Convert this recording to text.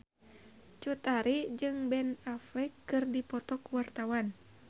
Cut Tari jeung Ben Affleck keur dipoto ku wartawan